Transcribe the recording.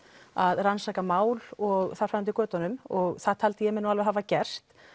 að rannsaka mál og þar fram eftir götunum og það taldi ég mig alveg hafa gert